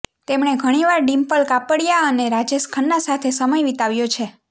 તેમને ઘણી વાર ડીમ્પલ કાપડિયા અને રાજેશ ખન્ના સાથે સમય વિતાવ્યો છે